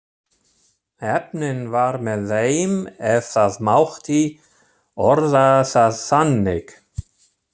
Heppnin var með þeim ef það mátti orða það þannig.